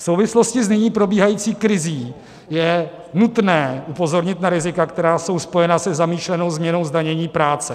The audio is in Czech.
V souvislosti s nyní probíhající krizí je nutné upozornit na rizika, která jsou spojena se zamýšlenou změnou zdanění práce.